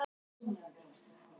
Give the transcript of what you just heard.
Fögnum fjölbreytileikanum alltaf.